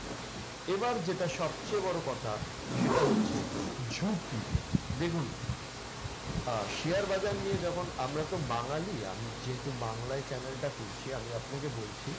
এবার যেটা সবচেয়ে বড় কথা, সেটা হচ্ছে ঝুঁকি। দেখুন আহ share বাজার নিয়ে যখন আমরাতো বাঙালি, আমি যেহেতু বাংলায় channel টা করছি আমি আপনাকে বলছি,